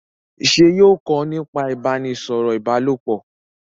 ṣe yóò kọ nípa ibaraẹnisọrọ ìbálòpọ̀?